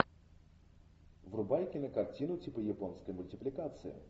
врубай кинокартину типа японской мультипликации